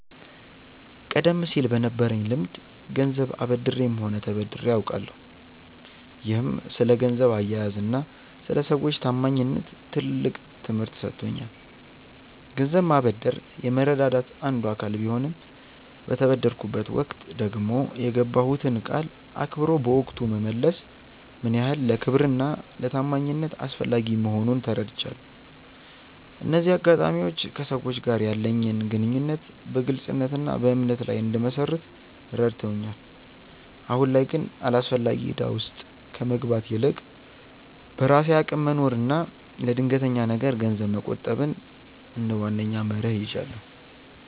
ቀደም ሲል በነበረኝ ልምድ ገንዘብ አበድሬም ሆነ ተበድሬ አውቃለሁ፤ ይህም ስለ ገንዘብ አያያዝና ስለ ሰዎች ታማኝነት ትልቅ ትምህርት ሰጥቶኛል። ገንዘብ ማበደር የመረዳዳት አንዱ አካል ቢሆንም፣ በተበደርኩበት ወቅት ደግሞ የገባሁትን ቃል አክብሮ በወቅቱ መመለስ ምን ያህል ለክብርና ለታማኝነት አስፈላጊ መሆኑን ተረድቻለሁ። እነዚህ አጋጣሚዎች ከሰዎች ጋር ያለኝን ግንኙነት በግልጽነትና በእምነት ላይ እንድመሰርት ረድተውኛል። አሁን ላይ ግን አላስፈላጊ እዳ ውስጥ ከመግባት ይልቅ፣ በራሴ አቅም መኖርንና ለድንገተኛ ነገር ገንዘብ መቆጠብን እንደ ዋነኛ መርህ ይዣለሁ።